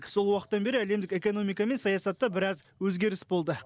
сол уақыттан бері әлемдік экономика мен саясатта біраз өзгеріс болды